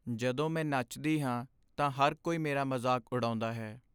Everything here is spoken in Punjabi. ਜਦੋਂ ਮੈਂ ਨੱਚਦੀ ਹਾਂ ਤਾਂ ਹਰ ਕੋਈ ਮੇਰਾ ਮਜ਼ਾਕ ਉਡਾਉਦਾ ਹੈ।